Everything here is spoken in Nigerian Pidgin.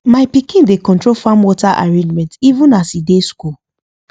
my pikin dey control farm water arrangement even as e dey school